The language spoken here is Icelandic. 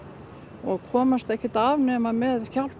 og komast ekkert af nema með hjálp